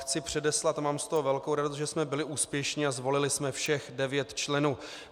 Chci předeslat - a mám z toho velkou radost - že jsme byli úspěšní a zvolili jsme všech devět členů.